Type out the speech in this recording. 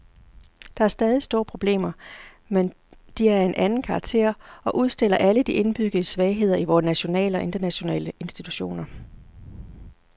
Der er stadig store problemer, men de er af en anden karakter og udstiller alle de indbyggede svagheder i vore nationale og internationale institutioner.